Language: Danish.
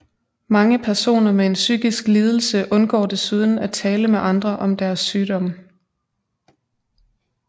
Mange personer med en psykisk lidelse undgår desuden at tale med andre om deres sygdom